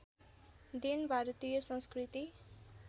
then भारतीय संस्कृति